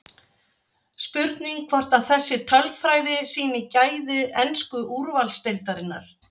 Spurning hvort að þessi tölfræði sýni gæði ensku úrvalsdeildarinnar?